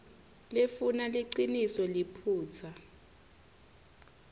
lefuna liciniso liphutsa